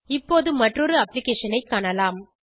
இப்போது மற்றொரு அப்ளிகேஷன் ஐ காணலாம்